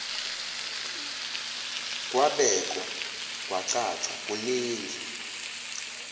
kwabekwa kwacaca kuningi